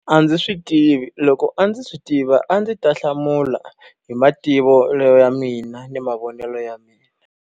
A ndzi swi tivi, loko a ndzi swi tiva a ndzi ta hlamula hi mativelo ya mina ni mavonelo ya mina.